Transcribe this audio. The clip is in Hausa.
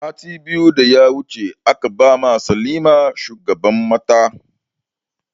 Sati biyu da suka wuce aka ba ma salima shugaban mata